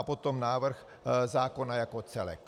A potom návrh zákona jako celek.